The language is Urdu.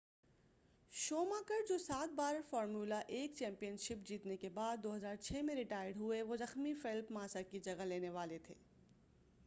شوماکر جو سات بار فارمولہ 1 چیمپین شپ جیتنے کے بعد 2006 میں ریٹائرڈ ہوئے وہ زخمی فیلپ ماسا کی جگہ لینے والے تھے